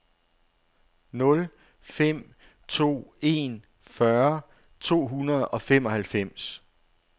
nul fem to en fyrre to hundrede og femoghalvfems